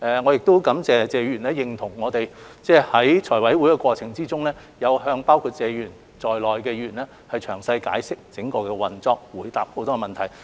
我亦感謝謝議員認同我們在財委會審批的過程中，有向包括謝議員在內的議員詳細解釋整個項目的運作，並回答了很多問題。